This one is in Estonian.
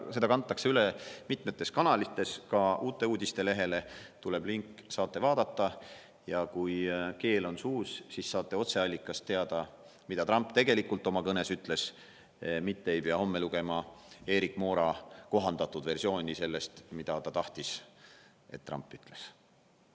Seda kantakse üle mitmetes kanalites, ka Uute Uudiste lehele tuleb link, saate vaadata, ja kui keel on suus, siis saate otseallikast teada, mida Trump tegelikult oma kõnes ütles, mitte ei pea homme lugema Erik Moora kohandatud versiooni sellest, mida ta tahtis, et Trump ütleks.